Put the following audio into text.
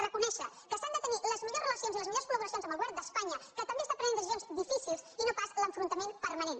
reconèixer que s’han de tenir les millors relacions i les millors col·laboracions amb el govern d’espanya que també pren decisions difícils i no pas l’enfrontament permanent